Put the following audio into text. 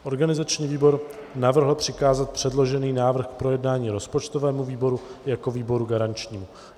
Organizační výbor navrhl přikázat předložený návrh k projednání rozpočtovému výboru jako výboru garančnímu.